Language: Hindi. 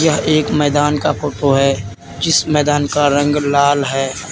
यह एक मैदान का फोटो है जिस मैदान का रंग लाल है।